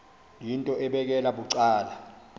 yinto ebekela bucala